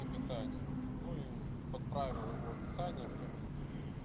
к описаниям ну и подправил его описание в комменте